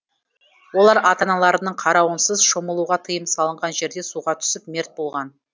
олар ата аналарының қарауынсыз шомылуға тыйым салынған жерде суға түсіп мерт болған